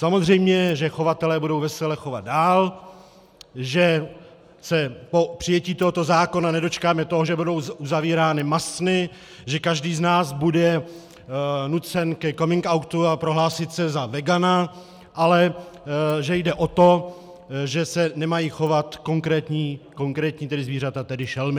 Samozřejmě že chovatelé budou vesele chovat dál, že se po přijetí tohoto zákona nedočkáme toho, že budou zavírány masny, že každý z nás bude nucen ke coming outu a prohlásí se za vegana, ale že jde o to, že se nemají chovat konkrétní zvířata, tedy šelmy.